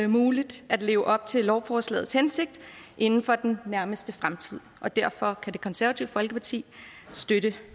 muligt at leve op til lovforslagets hensigt inden for den nærmeste fremtid og derfor kan det konservative folkeparti støtte